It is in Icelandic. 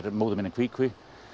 móðir mín í kví kví